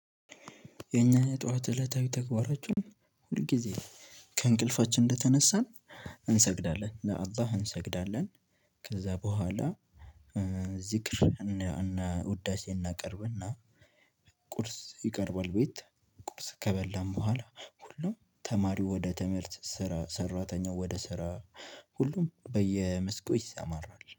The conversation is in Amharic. የኛ የጧት እለታዊ ተግባራችን ሁል ጊዜ ከእንቅልፋችን እንደተነሳን እንሰግዳለን ለአላህ እንሰግዳለን። ከዛ በኋላ ዝክር እና ውዳሴ እናቀርብና። ቁርስ ይቀርባል። ቤት ቁርስ ከበላን በኋላ ሁሉም ተማሪው ወደ ትምህርት ሰራ ሰራተኛው ወደ ስራ። ሁሉም በየመስኩ ይሰማራል